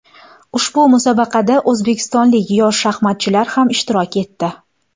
Ushbu musobaqada o‘zbekistonlik yosh shaxmatchilar ham ishtirok etdi.